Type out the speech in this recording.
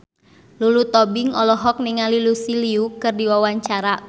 Lulu Tobing olohok ningali Lucy Liu keur diwawancara